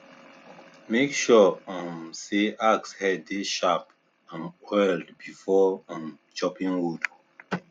make sure um say axe head dey sharp and oiled before um chopping wood